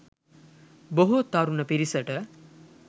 බොහෝ තරුණ පිරිසට